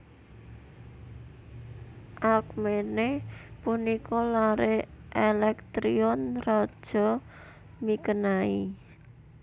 Alkmene punika lare Elektrion raja Mikenai